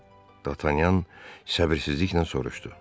Dartanyan səbirsizliklə soruşdu.